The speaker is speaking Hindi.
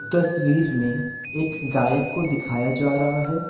तस्वीर में एक गायक को दिखाया जा रहा है।